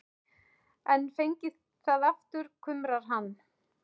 En fengið það aftur, kumrar hann.